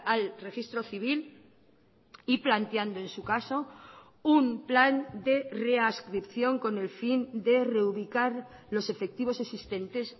al registro civil y planteando en su caso un plan de readscripción con el fin de reubicar los efectivos existentes